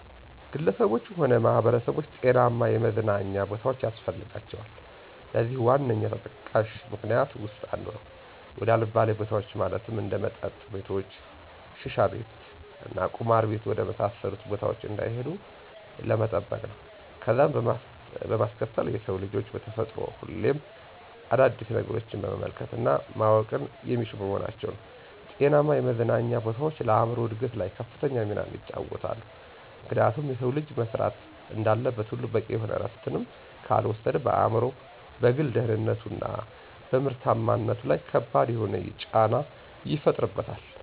ግለሰቦች ሆነ ማህበረሰቦች ጤናማ የመዝናኛ ቦታዎች ያስፈልጋቸዋል። ለዚህም ዋነኛ ተጠቃሽ ምክኒያቶች ዉስጥ አንዱ፦ ወደ አልባሌ ቦታዎች ማለትም እንደ መጠጥ ቤቶች፣ ሽሻቤት እና ቁማር ቤት ወደ መሳሰሉት ቦታዎች እንዳይሄዱ ለመጠበቅ ነው። ከዛም በማስከተል የሰው ልጆች በተፈጥሮ ሁሌም አዳዲስ ነገሮችን መመልከት እና ማወቅን የሚሹ በመሆናቸው ነው። ጤናማ የመዝናኛ ቦታዎች ለአእምሮ እድገት ላይ ከፍተኛ ሚናን ይጫወታሉ፤ ምክንያቱም የሰው ልጅ መስራት እንዳለበት ሁሉ በቂ የሆነ እረፍትንም ካልወሰደ በአእምሮው፣ በግል ደህንነቱ፣ እና በምርታማነቱ ለይ ከባድ የሆነን ጫና ይፈጥርበታል።